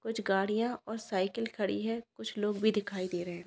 कुछ गाड़ियां और साइकिल खड़ी है कुछ लोग भी दिखाई दे रहे है।